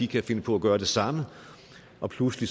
kan finde på at gøre det samme og pludselig